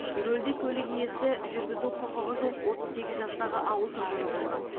рөлде көлік иесі жүргізу құқығы жоқ отыз сегіз жастағы ауыл тұрғыны болған